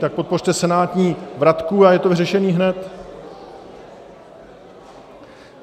Tak podpořte senátní vratku a je to vyřešené hned.